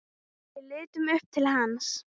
Við litum upp til hans.